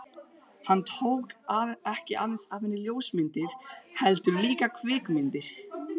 Hann tók ekki aðeins af henni ljósmyndir, heldur líka kvikmyndir.